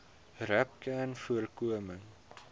rapcanvoorkoming